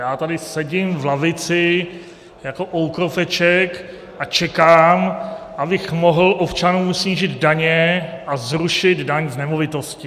Já tady sedím v lavici jako oukropeček a čekám, abych mohl občanům snížit daně a zrušit daň z nemovitosti.